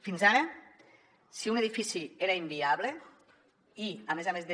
fins ara si un edifici era inviable i a més a més de